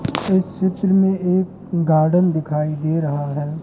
इस चित्र में एक गार्डन दिखाई दे रहा है।